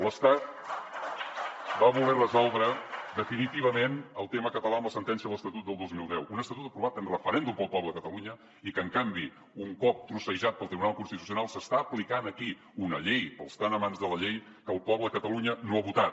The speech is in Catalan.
l’estat va voler resoldre definitivament el tema català amb la sentència de l’estatut de dos mil deu un estatut aprovat en referèndum pel poble de catalunya i que en canvi un cop trossejat pel tribunal constitucional s’està aplicant aquí una llei pels tan amants de la llei que el poble de catalunya no ha votat